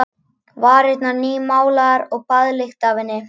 Varirnar nýmálaðar og baðlykt af henni.